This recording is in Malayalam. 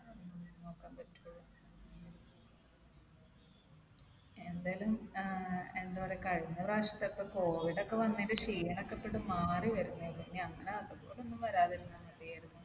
എന്തായാലും ഏർ എന്താ പറയാ കഴിഞ്ഞ പ്രാവശ്യത്തെ ഒക്കെ covid ഒക്കെ വന്നതിന്റെ ക്ഷീണം ഒക്കെ ഇപ്പൊ അങ്ങൊട് മാറി വരുന്നേയുള്ളൂ. ഇനി അങ്ങനെ അതുപോലെയൊന്നും വരാതെയിരുന്നാൽ മതിയായിരുന്നു.